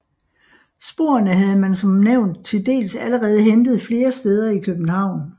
Sporene havde man som nævnt til dels allerede hentet flere steder i København